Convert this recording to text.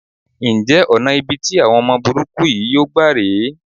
Ǹjẹ́ ọ̀nà ibi tí àwọn ọmọ burúkú yìí yóò gbà rè é?